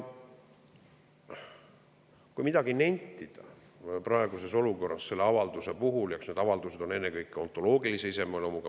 Kui midagi nentida praeguses olukorras selle avalduse puhul, siis eks niisugune avaldus on ennekõike autoloogilise iseloomuga.